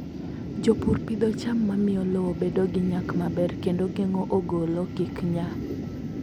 Jopur pidho cham ma miyo lowo bedo gi nyak maber kendo geng'o ogolo kik nya.